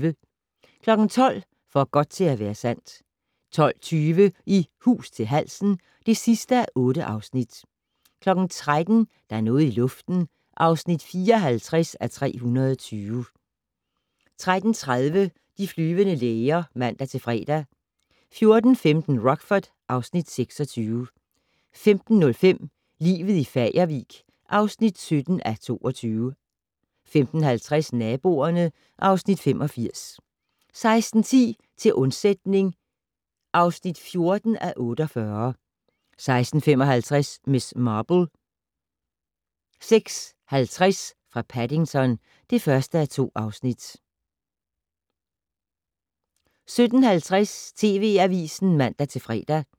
12:00: For godt til at være sandt 12:20: I hus til halsen (8:8) 13:00: Der er noget i luften (54:320) 13:30: De flyvende læger (man-fre) 14:15: Rockford (Afs. 26) 15:05: Livet i Fagervik (17:24) 15:50: Naboerne (Afs. 85) 16:10: Til undsætning (14:48) 16:55: Miss Marple: 16.50 fra Paddington (1:2) 17:50: TV Avisen (man-fre)